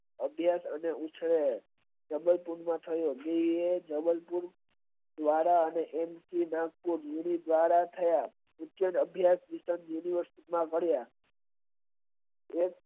અદ્યત અને ઉછાળે જબલ પુરમાં થયો જબલ પુલ થયા અગિયાર થયા